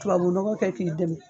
Tubabu nɔgɔ kɛ k'i dɛmɛ.